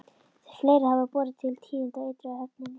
Fleira hafði borið til tíðinda á ytri höfninni.